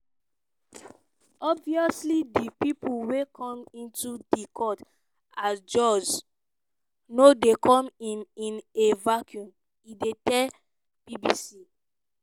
"obviously di pipo wey come into di court as jurors no dey come in in a vacuum" e tell bbc.